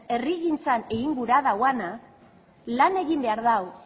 herrigintzan egin gura duenak lan egin behar du